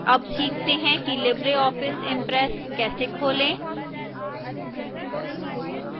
अब सीखते हैं कि libreoffice impress कैसे खोलें